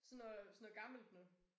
Sådan noget sådan noget gammelt noget